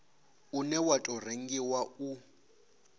une wa tou rengiwa u